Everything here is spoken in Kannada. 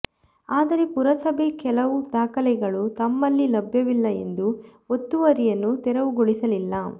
ಆದರೆ ಪುರಸಭೆ ಕೆಲವು ದಾಖಲೆಗಳು ತಮ್ಮಲ್ಲಿ ಲಭ್ಯವಿಲ್ಲ ಎಂದು ಒತ್ತುವರಿಯನ್ನು ತೆರವುಗೊಳಿಸಲಿಲ್ಲ